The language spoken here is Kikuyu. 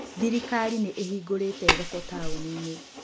Thirikari nĩ ĩhingũrĩte thoko taũni-inĩ.